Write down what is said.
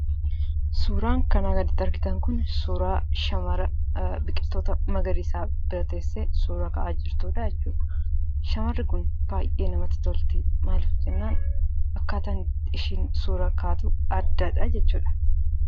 Suuraan kanaa gaditti argitan kun suuraa shamara biqiltoota magariisa bira teessee suura ka'aa jirtuudha jechuudha. Shamarri kun baay'ee namatti tolti. Maaliif jennaan, akkaataan itti isheen suura kaatu addadha jechuudha.